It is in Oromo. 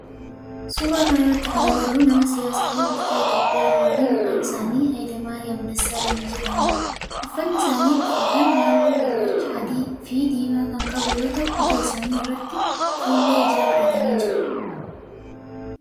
Suuraa kana irratti kana agarru nama siyaasaa fi bulchaa Itiyoophiyaa duraanii maqaan isaanii Haayile maariyam Dassaaleny jedhamudha. Uffanni isaan uffatan halluu gurraacha, adii fi diimaa kan qabu yoo ta'u ija isaanii irratti fuullee ijaa godhatani jiru.